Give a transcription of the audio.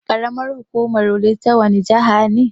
Ƙaramar hukumar Wudil ta wani jihana ne?